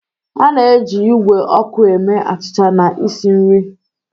A na-eji igwe ọkụ eme achịcha na isi nri.